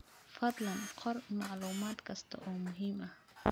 Fadlan qor macluumaad kasta oo muhiim ah.